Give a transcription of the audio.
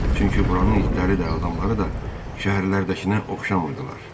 Çünki buranın itləri də, adamları da şəhərlərdəkinə oxşamırdılar.